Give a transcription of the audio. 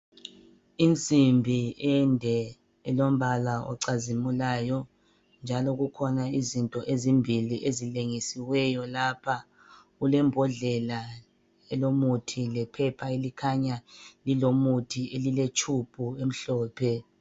Insimbi ende elombala ocazimulayo njalo kukhona izinto ezimbili ezilengisiweyo lapha, kulembodlela elomuthi lephepha elikhanya lilomuthi lile tshubhu emhlophe.